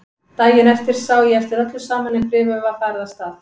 Daginn eftir sá ég eftir öllu saman en bréfið var farið af stað.